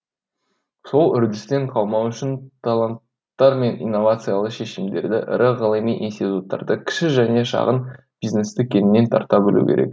сол үрдістен қалмау үшін таланттар мен инновациялы шешімдерді ірі ғылыми институттарды кіші және шағын бизнесті кеңінен тарта білу керек